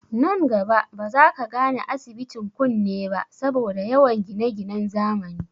Nan gaba ba za ka gane, asibitin kunne ba saboda yawan gineginen zamani